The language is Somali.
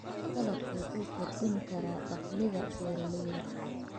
Dalaggu wuxuu kordhin karaa dakhliga beeralayda.